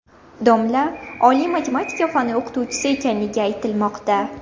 Domla oliy matematika fani o‘qituvchisi ekanligi aytilmoqda.